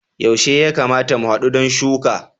Yaushe ya kamata mu hadu don shuka?